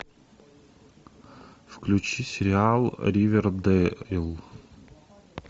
включи сериал ривердэйл